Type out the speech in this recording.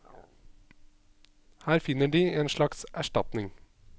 Her finner de en slags erstatning.